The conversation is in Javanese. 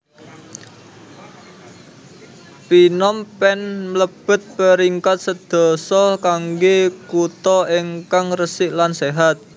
Phnom Penh mlebet peringkat sedoso kangge kuto ingkang resik lan sehat